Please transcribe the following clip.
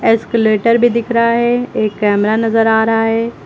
Escalator भी दिख रहा है एक कैमरा नजर आ रहा है।